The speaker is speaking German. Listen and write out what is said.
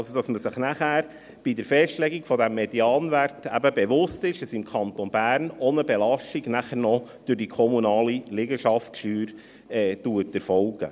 Das heisst also, dass man sich bei der Festlegung des Medianwerts bewusst sein muss, dass im Kanton Bern noch eine Belastung durch die kommunale Liegenschaftssteuer erfolgt.